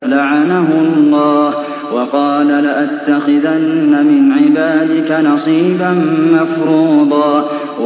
لَّعَنَهُ اللَّهُ ۘ وَقَالَ لَأَتَّخِذَنَّ مِنْ عِبَادِكَ نَصِيبًا مَّفْرُوضًا